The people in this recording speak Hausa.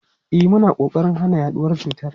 E, muna kokarin hana yaduwar cutar.